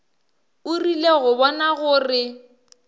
o rile go bona gore